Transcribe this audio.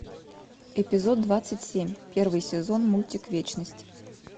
эпизод двадцать семь первый сезон мультик вечность